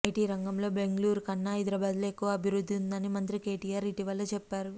IT రంగంలో బెంగళూరుకన్నా హైదరాబాద్లో ఎక్కువ అభివృద్ధి ఉందని మంత్రి కేటీఆర్ ఇటీవల చెప్పారు